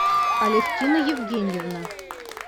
алевтина евгеньевна